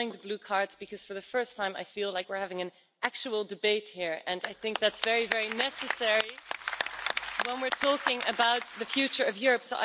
I'm enjoying the blue cards because for the first time, I feel like we're having an actual debate here and I think that's very, very necessary when we're talking about the future of Europe.